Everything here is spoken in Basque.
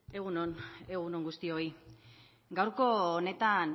egun on egun on guztioi gaurko honetan